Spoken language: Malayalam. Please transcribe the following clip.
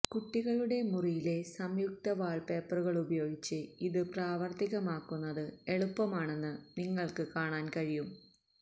കുട്ടികളുടെ മുറിയിലെ സംയുക്ത വാൾപേപ്പറുപയോഗിച്ച് ഇത് പ്രാവർത്തികമാക്കുന്നത് എളുപ്പമാണെന്ന് നിങ്ങൾക്ക് കാണാൻ കഴിയും